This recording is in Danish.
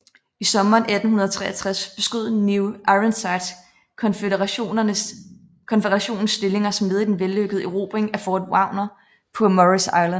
I sommeren 1863 beskød New Ironsides Konføderationens stillinger som led i den vellykkede erobring af Fort Wagner på Morris Island